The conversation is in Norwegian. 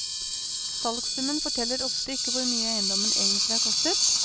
Salgssummen forteller ofte ikke hvor mye eiendommen egentlig har kostet.